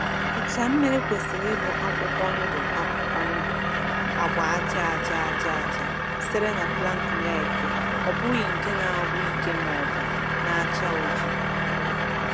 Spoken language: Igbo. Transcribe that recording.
Ụcha mmiri kwesịrị ịbụ akwụkwọ ndụ akwụkwọ ndụ-agba aja aja aja aja sitere na plankton eke, ọ bụghị nke na-agwụ ike maọbụ na-acha oji.